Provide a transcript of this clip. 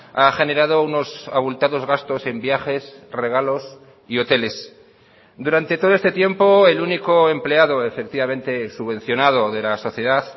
ha generado unos abultados gastos en viajes regalos y hoteles durante todo este tiempo el único empleado efectivamente subvencionado de la sociedad